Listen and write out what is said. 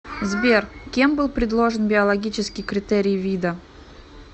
сбер кем был предложен биологический критерий вида